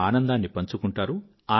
తమ ఆనందాన్ని పంచుకుంటారు